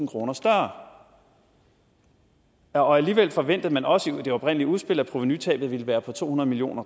kroner større og alligevel forventede man også i det oprindelige udspil at provenutabet ville være på to hundrede million